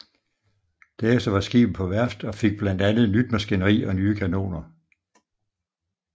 Derefter var skibet på værft og fik blandt andet nyt maskineri og nye kanoner